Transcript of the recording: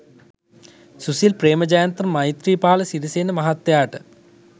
සුසිල් ප්‍රේමජයන්ත මෛත්‍රීපාල සිරිසේන මහත්තයාට